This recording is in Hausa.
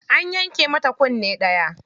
An yanke mata kunne ɗaya.